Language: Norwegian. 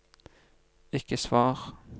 ikke svar